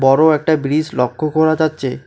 বড় একটা ব্রিজ লক্ষ করা যাচ্ছে।